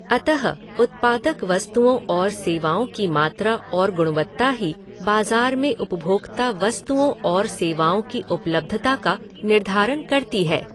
अतः, उत्पादक वस्तुओं और सेवाओं की मात्रा और गुणवत्ता ही बाजार में उपभोक्ता वस्तुओं और सेवाओं की उपलब्धता का निर्धारण करती है।